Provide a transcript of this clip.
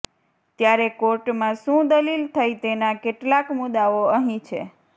ત્યારે કોર્ટમાં શું દલિલ થઈ તેના કેટલાક મુદ્દાઓ અહીં છે